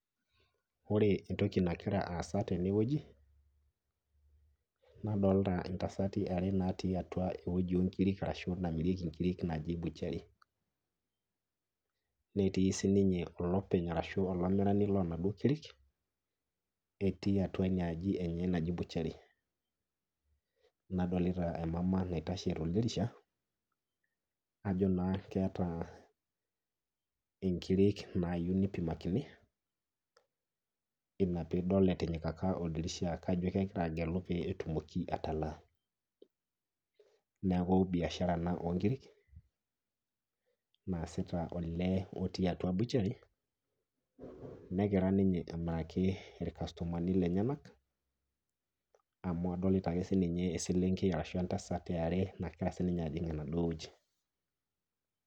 Ore entoki nagira aasa tenewueji nadolita intasati are natii atua ewueji oonkiri arashu namirieki nkirik naji butchery. Netii sininye olopeny arashu olamirani lonaduo kirik, etii atua inaaji enye naji butchery. Nadolita emama naitashe toldirisha ajo naa keetaa inkirik naayu neipimakini ina piidol etinyikaka oldirisha kajo kegira agelu pee etumoki atalaa. Neaku  biashara ena oonkirik naasita olee otii atua butchery negira ninye aimakii ilkastomani lenyenak amu adolita ake sininye eselenkei arashu entasat eare nagira sininye ajing' enaduo wueji.